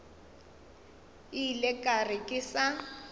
ile ka re ke sa